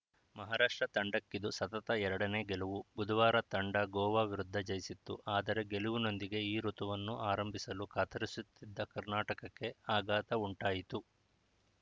ಮಹಾರಾಷ್ಟ್ರ ತಂಡಕ್ಕಿದು ಸತತ ಎರಡನೇ ಗೆಲುವು ಬುಧವಾರ ತಂಡ ಗೋವಾ ವಿರುದ್ಧ ಜಯಿಸಿತ್ತು ಆದರೆ ಗೆಲುವಿನೊಂದಿಗೆ ಈ ಋುತುವನ್ನು ಆರಂಭಿಸಲು ಕಾತರಿಸುತ್ತಿದ್ದ ಕರ್ನಾಟಕಕ್ಕೆ ಆಘಾತ ಉಂಟಾಯಿತು